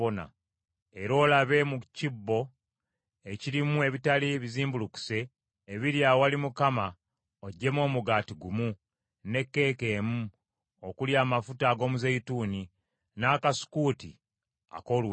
Era olabe mu kibbo ekirimu ebitali bizimbulukuse ebiri awali Mukama oggyemu omugaati gumu, ne keeke emu okuli amafuta ag’omuzeeyituuni, n’akasukuuti ak’oluwewere;